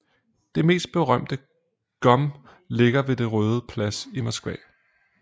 Det mest berømte GUM ligger ved Den Røde Plads i Moskva